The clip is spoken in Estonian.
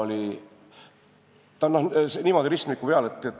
See kaamera on niimoodi ristmiku peal.